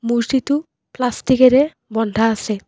মূৰ্ত্তিটো পাষ্টিকেৰে বন্ধা আছে।